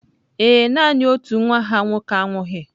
Ee e, nanị otu nwa ha nwoke anwụghị.